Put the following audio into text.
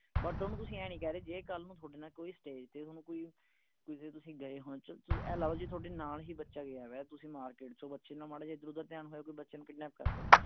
but ਓਹਨੂੰ ਤੁਸੀਂ ਆਏਂ ਨਹੀਂ ਕਹਿ ਰਹੇ ਜੇ ਕੱਲ ਨੂੰ ਥੋਡੇ ਨਾਲ ਕੋਈ stage ਤੇ ਥੋਨੂੰ ਕੋਈ ਕਿਤੇ ਤੁਸੀਂ ਗਏ ਹੋ ਚੱਲ ਤੁਸੀਂ ਆਏਂ ਲਾ ਲਓ ਜੇ ਥੋਡੇ ਨਾਲ ਹੀ ਬੱਚਾ ਗਿਆ ਹੋਇਆ ਤੁਸੀਂ market ਚੋਬੱਚੇ ਨਾਲ ਮਾੜਾ ਜਿਹਾ ਇਧਰ ਉਧਰ ਧਿਆਨ ਹੋਇਆ ਕੋਈ ਬੱਚੇ ਨੂੰ kidnap ਕਰ ਲੈ